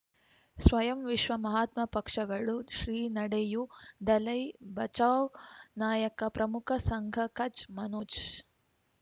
ಸ್ವಯಂ ವಿಶ್ವ ಮಹಾತ್ಮ ಪಕ್ಷಗಳು ಶ್ರೀ ನಡೆಯೂ ದಲೈ ಬಚೌ ನಾಯಕ ಪ್ರಮುಖ ಸಂಘ ಕಚ್ ಮನೋಜ್